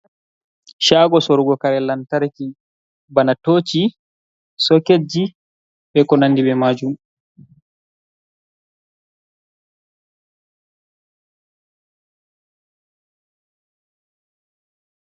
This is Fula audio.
Caago sorugo kare lamtarki, bana tooci, soketji, e ko nanndi be maajum.